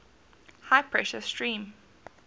high pressure steam